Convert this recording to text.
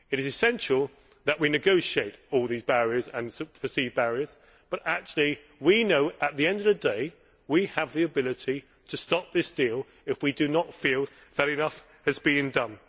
It is essential that we negotiate all these barriers and perceived barriers, but actually we know that, at the end of the day, we have the ability to stop this deal if we do not feel that enough has been done.